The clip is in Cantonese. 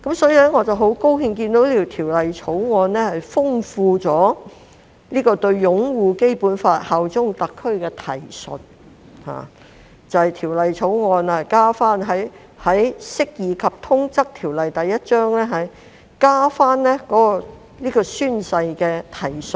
所以，我很高興看到《條例草案》豐富了條例對"擁護《基本法》、效忠特區"的提述，就是《條例草案》加入《釋義及通則條例》有關宣誓的提述。